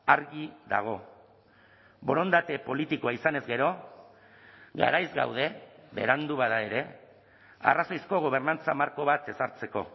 argi dago borondate politikoa izanez gero garaiz gaude berandu bada ere arrazoizko gobernantza marko bat ezartzeko